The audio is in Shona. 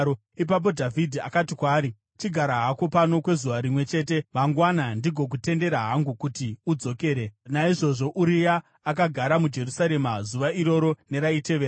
Ipapo Dhavhidhi akati kwaari, “Chigara hako pano kwezuva rimwe chete, mangwana ndigokutendera hangu kuti udzokere.” Naizvozvo Uria akagara muJerusarema zuva iroro neraitevera.